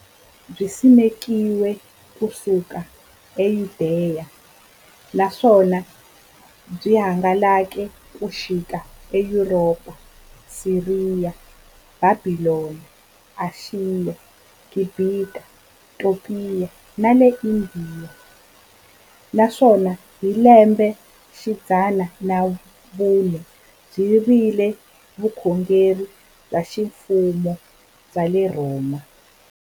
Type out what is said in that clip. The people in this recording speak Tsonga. Byisimekiwe ku suka eYudeya, naswona byi hangalake ku xika eYuropa, Siriya, Bhabhilona, Ashiya, Gibhita, Topiya na Indiya, naswona hi lembexidzana ra vumune byi vile vukhongeri bya ximfumo bya le Rhoma.